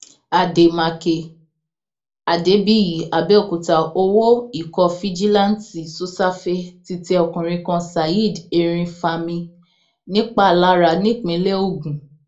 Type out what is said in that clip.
àdèmàkè adébíyí àbẹòkúta owó ikọ fijilanti sosafe ti tẹ ọkùnrin kan saheed erinfami nìpalára nípínlẹ ogun